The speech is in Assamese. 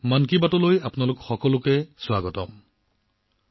মন কী বাতলৈ আপোনালোক সকলোকে বহুত বহুত আদৰণি জনাইছো